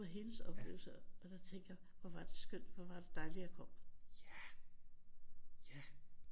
Det var hendes oplevelse og så tænkte jeg hvor var det skønt hvor var det dejligt at jeg kom